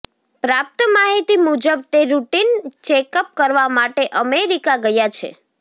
પ્રાપ્ત માહિતી મુજબ તે રૂટીન ચેકઅપ કરવા માટે અમેરિકા ગયા છે